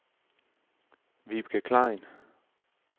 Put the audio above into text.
Vibeke Klein